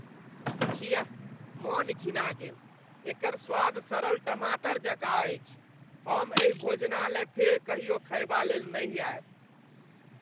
छिया! मन घिना गेल ! एकर स्वाद सड़ल टमाटर जकाँ अछि, हम एहि भोजनालय फेर कहियो खयबालेल नहि आयब।